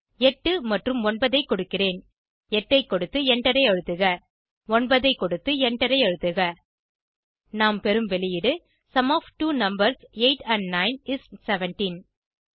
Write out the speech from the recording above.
8 மற்றும் 9 ஐ கொடுக்கிறேன் 8 ஐ கொடுத்து எண்டரை அழுத்துக 9 ஐ கொடுத்து எண்டரை அழுத்துக நாம் பெறும் வெளியீடு sum of two numbers 8 and 9 is 17